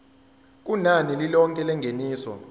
kunani lilonke lengeniso